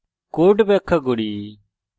code ব্যাখ্যা করি